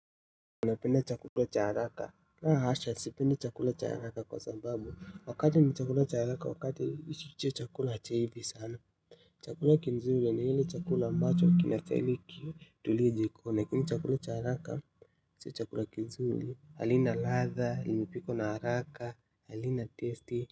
Unapenda chakula cha haraka, la hasha si pendi chakula cha haraka kwa sababu, wakati ni chakula cha haraka wakati hico chakula hakiivi sana, chakula kizuri ni ile chakula ambacho kinastahili kitulie jikoni, lakini chakula cha haraka si chakula kizuri halina ladha limepikwa na haraka halina taste.